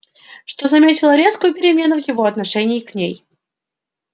что заметила резкую перемену в его отношении к ней